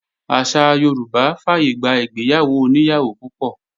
Àṣà Yorùbá fàyègbà ìgbéyàwó oní ìyàwó púpọ̀